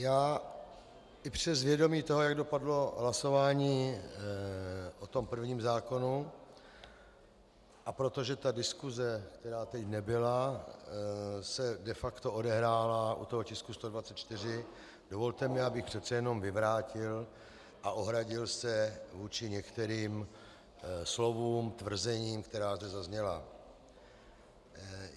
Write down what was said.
Já i přes vědomí toho, jak dopadlo hlasování o tom prvním zákonu, a protože ta diskuse, která teď nebyla, se de facto odehrála u toho tisku 124, dovolte mi, abych přece jenom vyvrátil a ohradil se vůči některým slovům, tvrzením, která zde zazněla.